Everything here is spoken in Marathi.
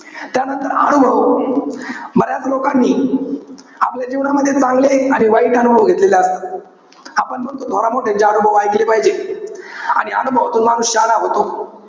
त्यानंतर अनुभव, बऱ्याच लोकांनी आपल्या जीवनामध्ये चांगले आणि वाईट अनुभव घेतलेले असतात. आपण म्हणतो, थोरामोठ्यांची अनुभव ऐकले पाहिजे. आणि अनुभवातून माणूस शहाणा होतो.